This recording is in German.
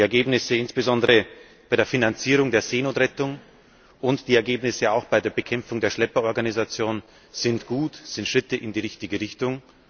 Die Ergebnisse insbesondere bei der Finanzierung der Seenotrettung und auch die Ergebnisse bei der Bekämpfung der Schlepperorganisationen sind gut, sind Schritte in die richtige Richtung.